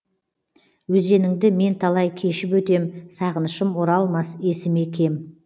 өзеніңді мен талай кешіп өтем сағынышым оралмас есіме кем